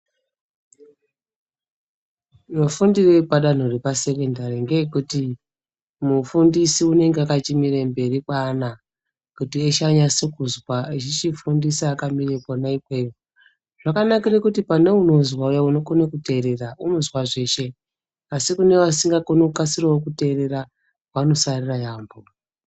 Mafundire epadanho repasekendari ngeekuti mufundisi unenge akachimire mberi kweana kuti eshe anase kuzwa echichifundise akamire Kona ikweyo zvakanakire kuti kuti pane unozwa uya unokone kuteerera unozwa zveshe asi kune vasingakoni kukasirawo kuteerera vanosarira yaampho.